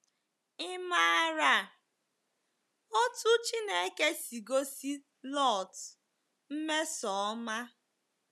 Ị̀ maara otú Chineke si gosi Lọt mmesoọma?